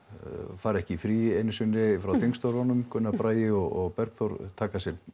fara ekki í frí einu sinni frá þingstörfunum Gunnar Bragi og Bergþór taka sér